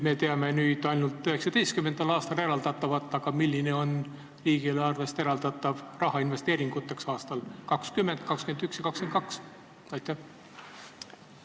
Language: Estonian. Me teame ainult 2019. aastal eraldatavat, aga milline on riigieelarvest eraldatav raha investeeringuteks aastatel 2020, 2021 ja 2022?